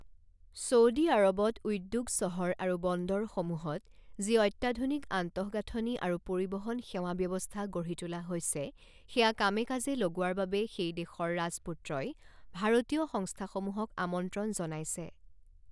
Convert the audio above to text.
Saudi আৰৱত উদ্যোগ চহৰ আৰু বন্দৰসমূহত যি অত্যাধুনিক আন্তঃগাঁথনি আৰু পৰিবহন সেৱা ব্যৱস্থা গঢ়ি তোলা হৈছে, সেয়া কামে কাজে লগোৱাৰ বাবে সেই দেশৰ ৰাজপুত্ৰই ভাৰতীয় সংস্থাসমূহক আমন্ত্ৰণ জনাইছে।